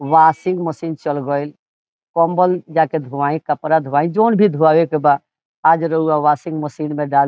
washing machine चल गयिल | कंबल जा के धोवाई कपड़ा धोवाइ जउन भी धोवावे के बा आज रउवा वाशिंग मशीन में डाल --